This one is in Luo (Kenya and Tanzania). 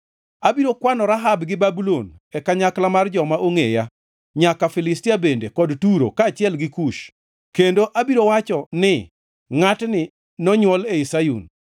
“Abiro kwano Rahab + 87:4 Nying machielo midendogo Misri. gi Babulon e kanyakla mar joma ongʼeya, nyaka Filistia bende, kod Turo, kaachiel gi Kush kendo abiro wacho ni, ‘Ngʼatni nonywol ei Sayun.’ ”